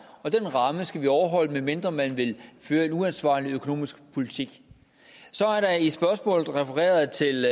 og den ramme skal overholdes medmindre man vil føre en uansvarlig økonomisk politik så er der i spørgsmålet refereret til